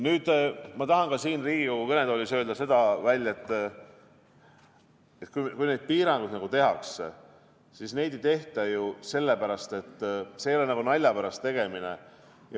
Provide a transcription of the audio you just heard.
Nüüd, ma tahan siin Riigikogu kõnetoolis öelda välja ka selle, et kui neid piiranguid tehakse, siis neid ei tehta nalja pärast.